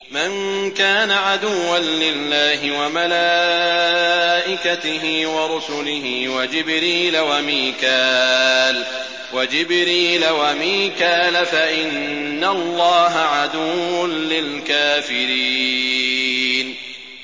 مَن كَانَ عَدُوًّا لِّلَّهِ وَمَلَائِكَتِهِ وَرُسُلِهِ وَجِبْرِيلَ وَمِيكَالَ فَإِنَّ اللَّهَ عَدُوٌّ لِّلْكَافِرِينَ